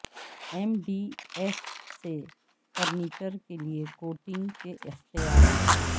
M D F سے furniture کے لئے کوٹنگ کے اختیارات